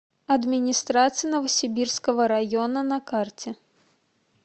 администрация новосибирского района на карте